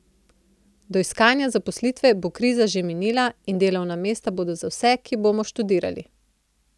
Do iskanja zaposlitve bo kriza že minila in delovna mesta bodo za vse, ki bomo študirali.